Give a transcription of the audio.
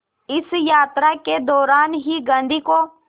इस यात्रा के दौरान ही गांधी को